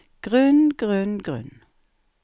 grunn grunn grunn